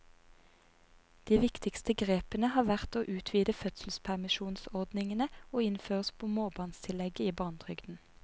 De viktigste grepene har vært å utvide fødselspermisjonsordningene og innføre småbarnstillegget i barnetrygden.